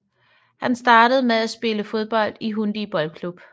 Han startede med at spille fodbold i Hundige Boldklub